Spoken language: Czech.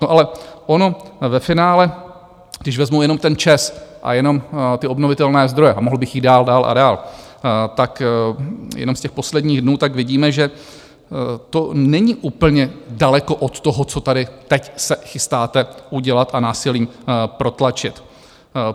No ale ono ve finále, když vezmu jenom ten ČEZ a jenom ty obnovitelné zdroje, a mohl bych jít dál, dál a dál, tak jenom z těch posledních dnů, tak vidíme, že to není úplně daleko od toho, co tady teď se chystáte udělat a násilím protlačit.